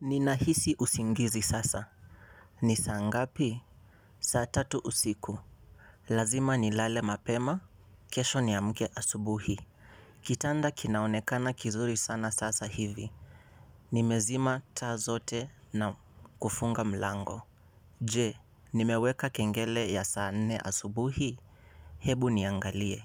Ninahisi usingizi sasa. Ni saa ngapi? Saa tatu usiku lazima nilale mapema. Kesho niamke asubuhi. Kitanda kinaonekana kizuri sana sasa hivi. Nimezima taa zote na kufunga mlango. Je, nimeweka kengele ya saa nne asubuhi? Hebu niangalie,